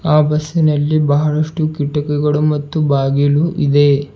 ಆ ಬಸ್ಸಿನಲ್ಲಿ ಬಹಳಷ್ಟು ಕಿಟ್ಟಕಿಗಳು ಮತ್ತು ಬಾಗಿಲು ಇದೆ.